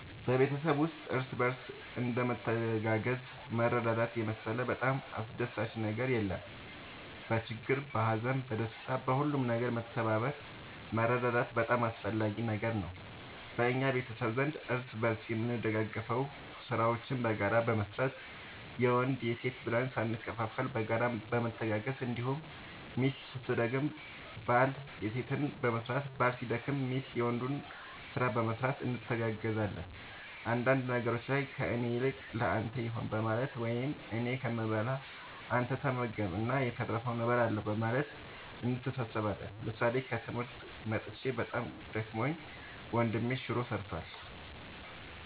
በቤተሰብ ውስጥ እርስ በርስ እንደ መተጋገዝና መረዳዳት የመሰለ በጣም አስደሳች ነገር የለም በችግር በሀዘን በደስታ በሁሉም ነገር መተባበር መረዳዳት በጣም አስፈላጊ ነገር ነው በእኛ ቤተሰብ ዘንድ እርስ በርስ የምንደጋገፈው ስራዎችን በጋራ በመስራት የወንድ የሴት ብለን ሳንከፋፈል በጋራ በመተጋገዝ እንዲሁም ሚስት ስትደክም ባል የሴትን በመስራት ባል ሲደክም ሚስት የወንዱን ስራ በመስራት እንተጋገዛለን አንዳንድ ነገሮች ላይ ከእኔ ይልቅ ለአንተ ይሁን በማለት ወይም እኔ ከምበላ አንተ ተመገብ እና የተረፈውን እበላለሁ በማለት እንተሳሰባለን ምሳሌ ከትምህርት መጥቼ በጣም ደክሞኝ ወንድሜ ሹሮ ሰርቷል።